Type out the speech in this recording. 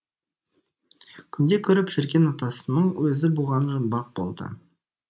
күнде көріп жүрген атасының өзі бұған жұмбақ болды